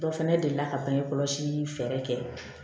Dɔ fana delila ka bange kɔlɔsi fɛɛrɛ kɛ